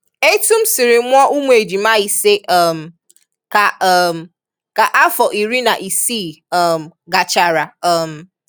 Etu m siri mụọ ụmụ ejima ise um ka um ka afọ iri na isii um gachara um